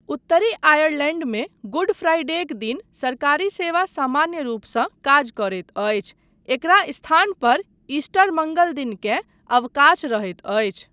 उत्तरी आयरलैण्डमे गुड फ्राइडेक दिन सरकारी सेवा सामान्य रूपसँ काज करैत अछि, एकरा स्थान पर ईस्टर मङ्गल दिनकेँ अवकाश रहैत अछि।